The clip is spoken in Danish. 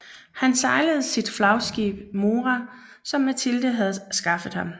Han sejlede sit flagskib Mora som Matilde havde skaffet ham